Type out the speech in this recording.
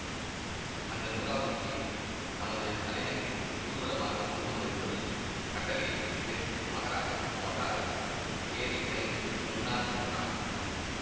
அந்த நூறாவது புலியை தமது தலைநகரில் ஊர்வலமாக கொண்டு வரும்படி கட்டளையிட்டுவிட்டு மகாராஜா மோட்டாரில் ஏறிவிரைந்து முன்னால் சென்றார்